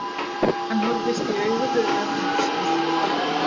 Hann horfist í augu við örlög sín.